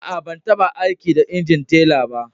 Aa, ban tabba aiki da injin teller ba.